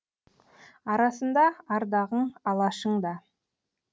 арасында ардағың алашың да